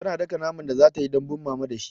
Tana daka naman da zatayi dambun mama da shi